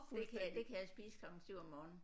Det kan jeg det kan jeg spise klokken 7 om morgenen